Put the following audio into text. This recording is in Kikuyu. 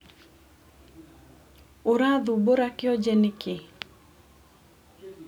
Ũrathumbũra kĩoje nĩkĩ?